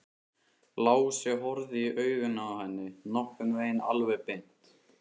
Lási horfði í augun á henni, nokkurn veginn alveg beint.